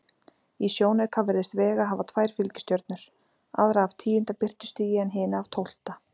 Í sjónauka virðist Vega hafa tvær fylgistjörnur, aðra af tíunda birtustigi en hina af tólfta.